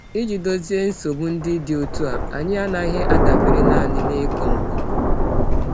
Iji dozie nsogbu ndị dị otu a, anyị anaghị adabere nanị n’ịkọ nkọ.